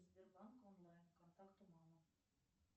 сбербанк онлайн контакту мама